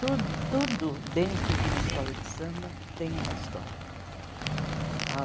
Tu tudo dentro de uma escola de samba tem uma história ah.